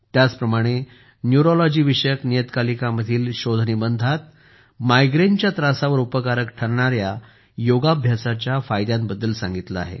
त्याचप्रमाणे न्यूरोलॉजी विषयक नियतकालिकामधील शोधनिबंधामध्ये मायग्रेनच्या त्रासावर उपकारक ठरणाऱ्या योगाभ्यासाच्या फायद्यांबद्दल सांगितले आहे